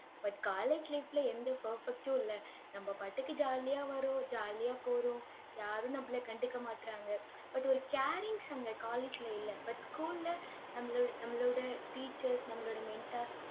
but college life ல எந்த perfect உம் இல்லை. நம்ம பாட்டுக்கு jolly ஆ வர்றோம், jolly ஆ போறோம் யாரும் நம்மளை கண்டுக்கமாட்றாங்க. but ஒரு carings அங்க college ல இல்ல. but school ல நம்மளோ~ நம்மளோட teachers நம்மளோட mentors